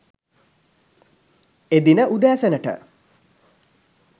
එදින උදෑසනට